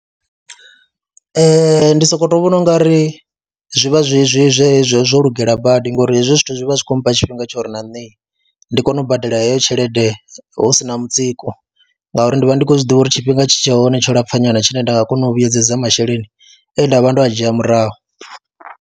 Ee, ndi sokou tou vhona u nga ri zwi vha zwi zwi zwe zwo lugela badi ngori hezwi zwithu zwi vha zwi khou mpha tshifhinga tsho ri na nne ndi kone u badela heyo tshelede hu si na mutsiko ngauri ndi vha ndi khou zwi ḓivha uri tshifhinga tshi tshe hone tsho lapfha nyana tshine nda nga kona u vhuyedzedza masheleni e nda vha ndo a dzhia murahu.